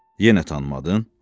Yenə tanımadın?